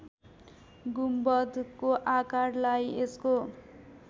गुम्बदको आकारलाई यसको